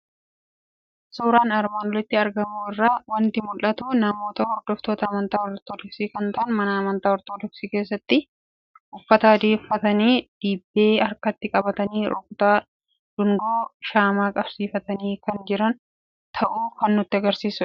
Suuraa armaan olitti argamu irraa waanti mul'atu ; namoota hordoftoota amantaa ortoodoksii kan ta'an mana amantaa ortoodoksii keessatti uffata adii uffatanii, dibbee harkatti qabatanii rukutaa, dungoo shaamaa qabsiifatanii kan jiran ta'uu kan nutti agarsiisudha.